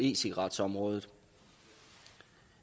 e cigaret området